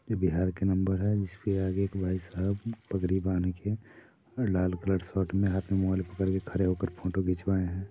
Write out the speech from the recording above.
ये बिहार का नंबर है जिस के आगे एक भाई साहेब पगड़ी बांध के लाल कलर सर्ट मे हाथ मे रुमाल पकड़ के खड़े होके फोंटो खिचवाये है।